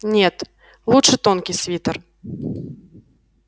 нет лучше тонкий свитер